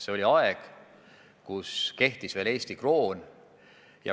See oli aeg, kui kehtis veel Eesti kroon.